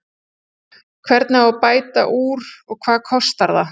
Hvernig á að bæta úr og hvað kostar það?